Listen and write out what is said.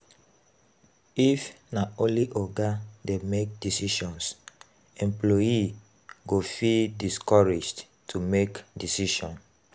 If na only oga dey make decisions, employee go feel discouraged to make decision